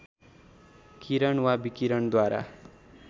किरण वा विकिरणद्वारा